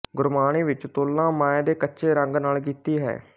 ਗੁਰਬਾਣੀ ਵਿੱਚ ਤੁਲਨਾ ਮਾਇਆ ਦੇ ਕੱਚੇ ਰੰਗ ਨਾਲ ਕੀਤੀ ਹੈ